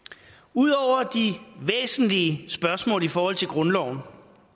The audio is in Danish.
ud over de væsentlige spørgsmål i forhold til grundloven